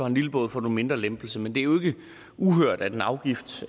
en lille båd får du en mindre lempelse men det er jo ikke uhørt at en afgift